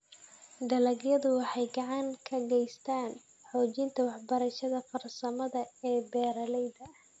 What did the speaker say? Dalagyadu waxay gacan ka geystaan ??xoojinta waxbarashada farsamada ee beeralayda.